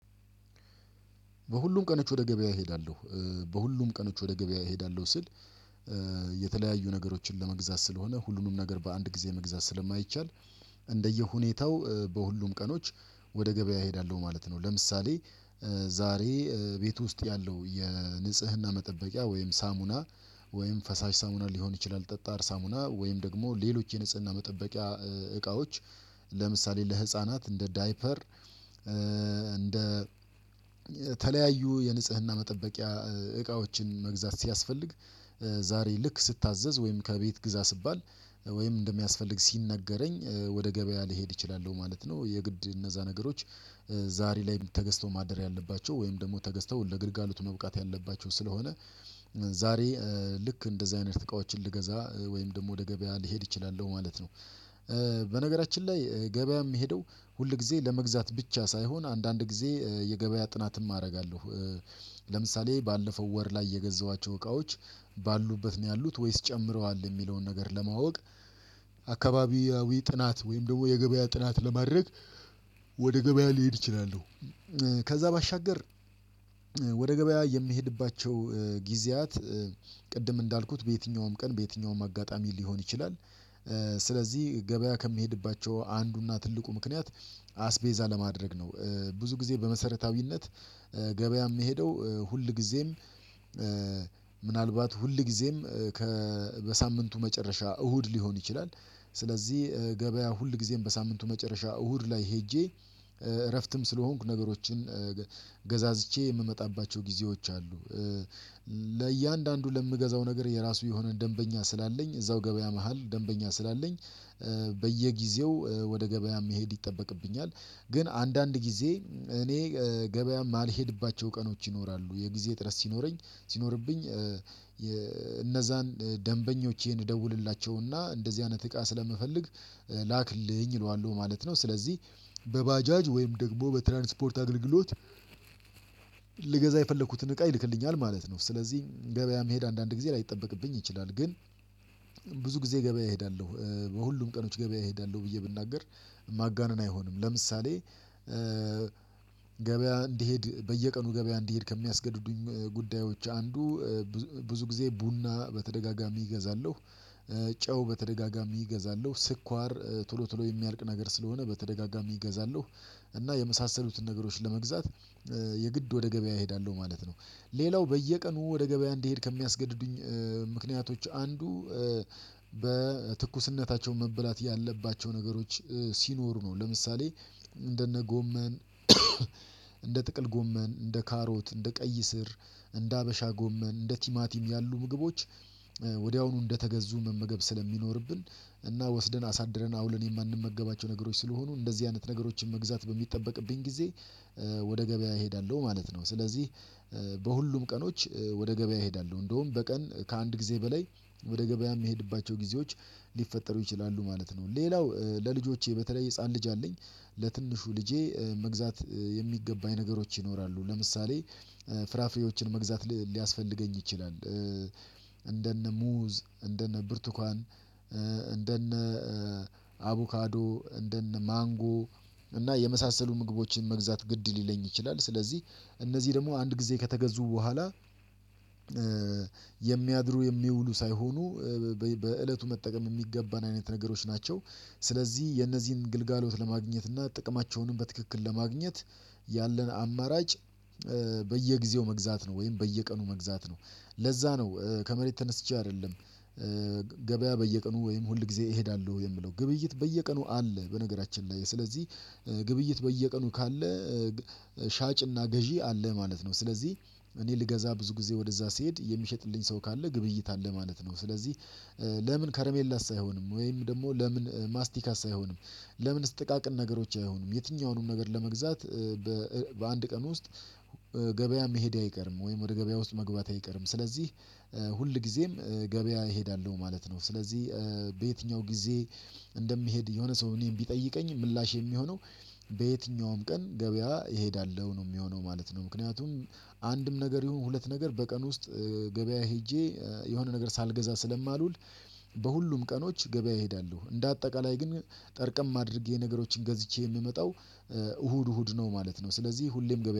በሁሉም ቀኖች ወደ ገበያ እሄዳለሁ በሁሉም ቀኖች ወደ ገበያ እሄዳለሁ ስል የተለያዩ ነገሮችን ለመግዛት ስለሆነ ሁሉንም ነገር በአንድ ጊዜ መግዛት ስለማይቻል እንደየሁኔታው በሁሉም ቀኖች ወደ ገበያ እሄዳለሁ ማለት ነው። ለምሳሌ ዛሬ ቤት ውስጥ ያለው የንጽህና መጠበቂያ ወይም ሳሙና ወይም ፈሳሽ ሳሙና ሊሆን ይችላል ጠጣር ሳሙና ወይም ደግሞ ሌሎች የንጽህና መጠበቂያ እቃዎች ለምሳሌ ለህፃናት እንደ ዳይፐር እንደ የተለያዩ የንጽህና መጠበቂያ እቃዎችን መግዛት ሲያስፈልግ ዛሬ ልክ ስታዘዝ ወይም ከቤት ግዛ ስባል ወይም እንደሚያስፈልግ ሲነገረኝ ወደ ገበያ ልሄድ እችላልው ማለት ነው። የግድ እነዛ ነገሮች ዛሬ ላይ ተገዝተው ማደር ያለባቸው ወይም ደግሞ ተገዝተው ለግልጋሎቱ መብቃት ያለባቸው ስለሆነ ዛሬ ልክ እንደዚህ አይነት እቃዎችን ልገዛ ወይም ደግሞ ወደ ገበያ ልሄድ እችላለሁ ማለት ነው። በነገራችን ላይ ገበያ የምሄደው ሁል ጊዜ ለመግዛት ብቻ ሳይሆን አንዳንድ ጊዜ የገበያ ጥናትም አደርጋለሁ። ለምሳሌ ባለፈው ወር ላይ የገዛኋቸው እቃዎች ባሉበት ነው ያሉት ወይስ ጨምረዋል የሚለውን ነገር ለማወቅ አካባቢያዊ ጥናት ወይም ደግሞ የገበያ ጥናት ለማድረግ ወደ ገበያ ልሄድ እችላለሁ። ከዛ ባሻገር ወደ ገበያ የምሄድባቸው ጊዜያት ቅድም እንዳልኩት በየትኛውም ቀን በየትኛውም አጋጣሚ ሊሆን ይችላል። ስለዚህ ገበያ ከምሄድባቸው አንዱና ትልቁ ምክንያት አስቤዛ ለማድረግ ነው። ብዙ ጊዜ በመሰረታዊነት ገበያ የምሄደው ሁል ጊዜም ሁልጊዜም ምናልባት ሁልጊዜም ከ በሳምንቱ መጨረሻ እሁድ ሊሆን ይችላል። ስለዚህ ገበያ ሁልጊዜም በሳምንቱ መጨረሻ እሁድ ላይ ሄጄ እረፍትም ስለሆንኩ ነገሮችን ገዛዝቼ የምመጣባቸው ጊዜዎች አሉ። ለእያንዳንዱ ለምገዛው ነገር የራሱ የሆነ ደንበኛ ስላለኝ እዛው ገበያ መሃል ደንበኛ ስላለኝ በየጊዜው ወደ ገበያ መሄድ ይጠበቅብኛል። ግን አንዳንድ ጊዜ እኔ ገበያ የማልሄድባቸው ቀኖች ይኖራሉ የጊዜ ጥረት ሲኖረኝ ሲኖርብኝ እነዛን ደንበኞቼን ደውልላቸውና እንደዚህ አይነት እቃ ስለምፈልግ ላክልኝ እለዋለሁ ማለት ነው። ስለዚህ በባጃጅ ወይም ደግሞ በትራንስፖርት አገልግሎት ልገዛ የፈለኩትን እቃ ይልክልኛል ማለት ነው። ስለዚህ ገበያ መሄድ አንዳንድ ጊዜ ላይጠበቅብኝ ይችላል ግን ብዙ ጊዜ ገበያ እሄዳለሁ በሁሉም ቀኖች ገበያ እሄዳለሁ ብዬ ብናገር ማጋነን አይሆንም። ለምሳሌ ገበያ እንድሄድ በየቀኑ ገበያ እንድሄድ ከሚያስገድዱኝ ጉዳዮች አንዱ ብዙ ጊዜ ቡና በተደጋጋሚ እገዛለሁ ጨው በተደጋጋሚ እገዛለሁ ስኳር ቶሎ ቶሎ የሚያልቅ ነገር ስለሆነ በተደጋጋሚ እገዛለሁ እና የመሳሰሉትን ነገሮች ለመግዛት የግድ ወደ ገበያ እሄዳለሁ ማለት ነው። ሌላው በየቀኑ ወደ ገበያ እንድሄድ ከሚያስገድዱኝ ምክንያቶች አንዱ በትኩስነታቸው መበላት ያለባቸው ነገሮች ሲኖሩ ነው። ለምሳሌ እንደነ ጎመን እንደ ጥቅል ጎመን እንደ ካሮት እንደ ቀይ ስር እንደ ሀበሻ ጎመን እንደ ቲማቲም ያሉ ምግቦች ወዲያውኑ እንደተገዙ መመገብ ስለሚኖርብን እና ወስደን አሳድረን አውለን የማንመገባቸው ነገሮች ስለሆኑ እንደዚህ አይነት ነገሮችን መግዛት በሚጠበቅብኝ ጊዜ ወደ ገበያ እሄዳለሁ ማለት ነው። ስለዚህ በሁሉም ቀኖች ወደ ገበያ እሄዳለሁ እንደውም በቀን ከአንድ ጊዜ በላይ ወደ ገበያ የምሄድባቸው ጊዜዎች ሊፈጠሩ ይችላሉ ማለት ነው። ሌላው ለልጆቼ በተለይ ህፃን ልጅ አለኝ ለትንሹ ልጄ መግዛት የሚገባኝ ነገሮች ይኖራሉ ለምሳሌ ፍራፍሬዎችን መግዛት ሊያስፈልገኝ ይችላል። እንደነ ሙዝ እንደነ ብርቱካን እንደነ አቡካዶ እንደነ ማንጎ እና የመሳሰሉ ምግቦችን መግዛት ግድ ሊለኝ ይችላል። ስለዚህ እነዚህ ደግሞ አንድ ጊዜ ከተገዙ በኋላ የሚያድሩ የሚውሉ ሳይሆኑ በእለቱ መጠቀም የሚገባን አይነት ነገሮች ናቸው። ስለዚህ የእነዚህን ግልጋሎት ለማግኘት እና ጥቅማቸውንም በትክክል ለማግኘት ያለን አማራጭ በየጊዜው መግዛት ነው ወይም በየቀኑ መግዛት ነው። ለዛ ነው ከመሬት ተነስቼ አይደለም ገበያ በየቀኑ ወይም ሁል ጊዜ እሄዳለሁ የምለው ግብይት በየቀኑ አለ በነገራችን ላይ ስለዚህ ግብይት በየቀኑ ካለ ሻጭና ገዢ አለህ ማለት ነው። ስለዚህ እኔ ልገዛ ብዙ ጊዜ ወደዛ ስሄድ የሚሸጥልኝ ሰው ካለ ግብይት አለ ማለት ነው። ስለዚህ ለምን ከረሜላስ አይሆንም ወይም ደግሞ ለምን ማስቲካስ አይሆንም? ለምንስ ጥቃቅን ነገሮች አይሆንም የትኛውንም ነገር ለመግዛት በአንድ ቀን ውስጥ ገበያ መሄድ አይቀርም። ወይም ወደ ገበያ ውስጥ መግባቴ አይቀርም። ስለዚህ ሁል ጊዜም ገበያ እሄዳለሁ ማለት ነው። ስለዚህ ለየትኛው ጊዜ እንደምሄድ የሆነ ሰው እኔን ቢጠይቀኝ ምላሽ የሚሆነው በየትኛውም ቀን ገበያ እሄዳለሁ ነው የሚሆነው ማለት ነው። ምክንያቱም አንድም ነገር ይሁን ሁለት ነገር በቀን ውስጥ ገበያ ሄጄ የሆነ ነገር ሳልገዛ ስለማልውል በሁሉም ቀኖች ገበያ እሄዳለሁ እንደ አጠቃላይ ግን ጠርቀም አድርጌ ነገሮችን ገዝቼ የምመጣው እሁድ እሁድ ነው ማለት ነው። ስለዚህ ሁሌም ገበያ